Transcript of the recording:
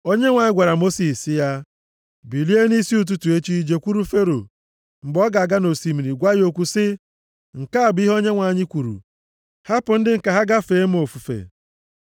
Onyenwe anyị gwara Mosis sị ya, “Bilie nʼisi ụtụtụ echi jekwuru Fero. Mgbe ọ ga-aga nʼosimiri, + 8:20 Eleghị anya ọ na-aga ịsa ahụ gwa ya okwu sị, ‘Nke a bụ ihe Onyenwe anyị kwuru, Hapụ ndị m ka ha gaa fee m ofufe.